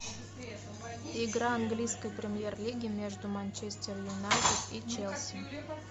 игра английской премьер лиги между манчестер юнайтед и челси